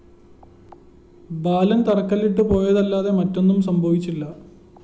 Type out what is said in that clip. ബാലന്‍ തറക്കല്ലിട്ടിട്ടു പോയതല്ലാതെ മറ്റൊന്നും സംഭവിച്ചില്ല